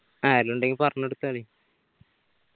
ആരേലും ഇണ്ടെങ്കി പറഞ് കൊടുത്തേ നീ